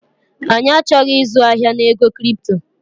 Anyị achọghị ịzụ ahịa na ego kripto